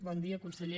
bon dia conseller